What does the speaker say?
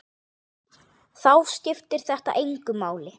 Þá skiptir þetta engu máli.